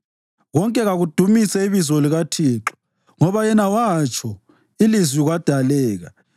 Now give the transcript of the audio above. Konke kakudumise ibizo likaThixo ngoba yena watsho ilizwi kwadaleka.